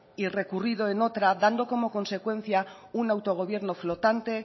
y recurrido en otra dando como consecuencia un autogobierno flotante